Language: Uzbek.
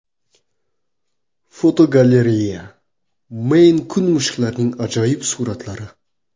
Fotogalereya: Meyn-kun mushuklarining ajoyib suratlari.